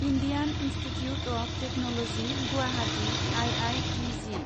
Indian institute of technology Guwahati I I T G